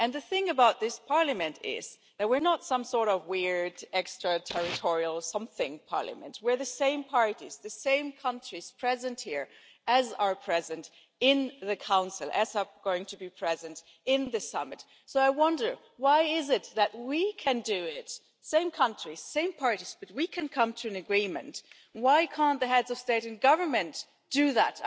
The thing about this Parliament is that we are not some sort of weird extra-territorial something parliament, but we are the same parties, the same countries, present here as are present in the Council and as are going to be present at the summit. So I wonder why it is that if we same country, same parties can come to an agreement, why can't the Heads of State and Government do that?